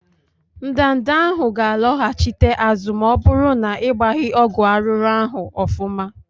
Ndanda ahụ ga loghachite azụ ma ọbụrụ n'igbaghi ọgwụ arụrụ ahụ ofụma.